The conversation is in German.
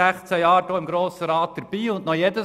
Ich gehöre dem Grossen Rat seit bald 16 Jahren an.